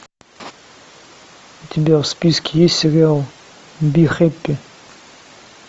у тебя в списке есть сериал би хэппи